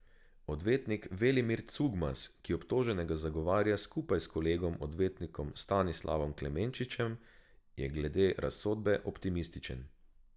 Odvetnik Velimir Cugmas, ki obtoženega zagovarja skupaj s kolegom odvetnikom Stanislavom Klemenčičem, je glede razsodbe optimističen.